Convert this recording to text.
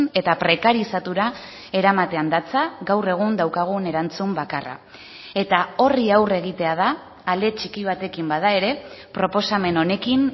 eta prekarizatura eramatean datza gaur egun daukagun erantzun bakarra eta horri aurre egitea da ale txiki batekin bada ere proposamen honekin